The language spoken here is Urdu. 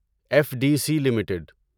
F D C limited